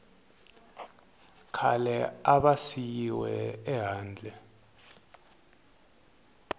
khale a va siyiwe ehandle